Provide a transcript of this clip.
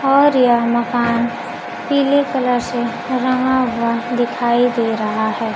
और यह मकान पीले कलर से रंगा हुआ दिखाई दे रहा है।